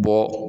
Bɔ